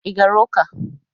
Ị gara ụka?